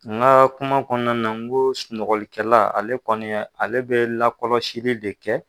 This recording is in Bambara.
Nka kuma kɔnɔna na n ko sunɔgɔlikɛla ale kɔniya ale bɛ lakɔlɔsili de kɛ.